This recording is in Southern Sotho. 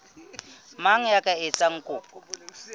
mang ya ka etsang kopo